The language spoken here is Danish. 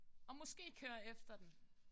Og måske køre efter dem